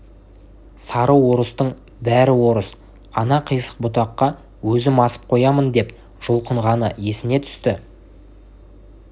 сары орыстың бәрі орыс ана қисық бұтаққа өзім асып қоямын деп жұлқынғаны есіне түсті